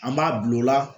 An b'a bulon la